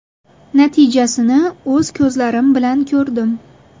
Natijasini o‘z ko‘zlarim bilan ko‘rdim.